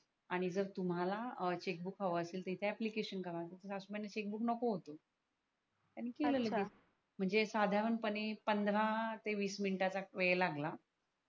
आणि जर तुम्हाला चेकबुक हव असेल तर इथे ऍप्लिकेशन करा सासुबाईला चेकबुक नको होत त्यांनी केल लगेच अच्छा म्हणजे साधारण पणे पंधरा विश मिंट चा वेळ लागला.